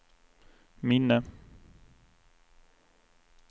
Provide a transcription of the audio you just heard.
minne